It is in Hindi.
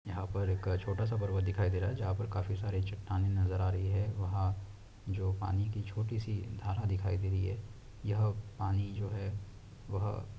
का छोटा सा पर्वत दिखाई दे रहा है जहां पर काफी सारी चट्टानें नजर आ रही है वह जो पानी की छोटी सी घारा दिखाई दे रही है यह जो पानी जो है वह --